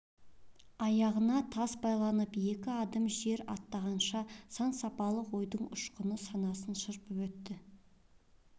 аяғына тас байланып екі адым жер аттағанша сан-сапалақ ойдың ұшқыны санасын шарпып өтті